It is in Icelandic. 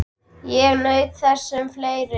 Ég naut þess sem fleiri.